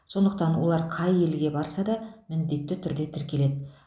сондықтан олар қай елге барса да міндетті түрде тіркеледі